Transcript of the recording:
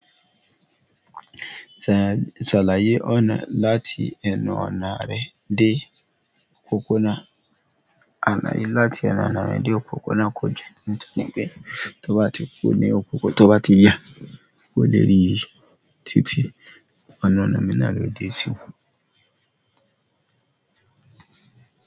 Ṣàlàyé ọ̀nà láti ẹnu ọ̀nà rẹ dé òkò náà. Ànà yìí láti ẹnu ọ̀nà rẹ dé òkòkò náà kò jẹ́ nítorí pé tó bá ti kún ní òkò, tó bá ti yà, kó lè rí i. Títí, ọ̀nà ọ̀nà mi náà ló dé sí oko.